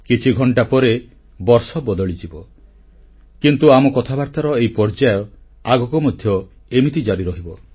କିଛି ଘଣ୍ଟା ପରେ ବର୍ଷ ବଦଳିଯିବ କିନ୍ତୁ ଆମ କଥାବାର୍ତ୍ତାର ଏହି ଧାରା ଆଗକୁ ମଧ୍ୟ ଏମିତି ଜାରି ରହିବ